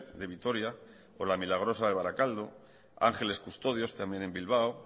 de vitoria la milagrosa de barakaldo ángeles custodios también en bilbao